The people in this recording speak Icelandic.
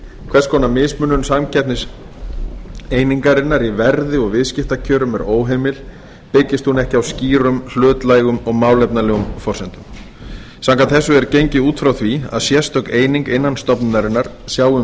hvers konar mismunun samkeppniseiningarinnar í verði og viðskiptakjörum er óheimil byggist hún ekki á skýrum hlutlægum og málefnalegum forsendum samkvæmt þessu er gengið út frá því að sérstök eining innan stofnunarinnar sjái um